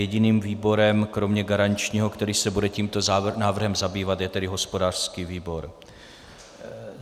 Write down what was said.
Jediným výborem kromě garančního, který se bude tímto návrhem zabývat, je tedy hospodářský výbor.